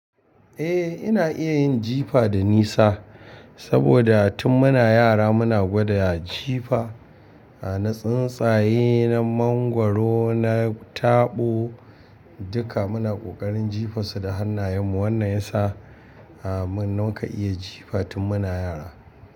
Eh, ina iya yin jifa da nisa saboda tun muna yara muna gwada jifa. Na tsuntsaye, na mangwaro, na tabo duka muna ƙoƙarin jifa su da hannayenmu. Wannan ya sa am muka iya jifa tun muna yara.